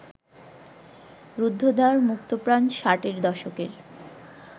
রুদ্ধদ্বার মুক্তপ্রাণ ষাটের দশকের